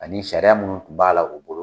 Ani sariya minnu tun b'a la u bolo